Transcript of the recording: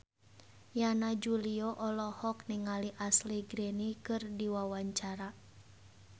Yana Julio olohok ningali Ashley Greene keur diwawancara